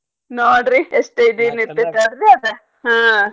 ನೋಡ್ರಿ ಎಷ್ಟ್ ಇದನ್ ಇರ್ತೇತ್ ಅಲ್ರೀ ಅದ ಹಾ.